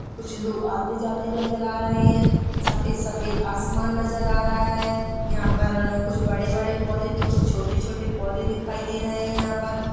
कुछ लोग आते जाते नजर आ रहे है सफ़ेद सफ़ेद आसमान नजर आ रहा है यहाँ पर कुछ बड़े-बड़े पौधे तो कुछ छोटे छोटे पौधे दिखाई दे रहे है यहाँ पर--